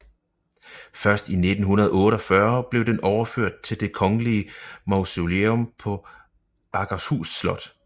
Først i 1948 blev den overført til Det Kongelige Mausoleum på Akershus Slot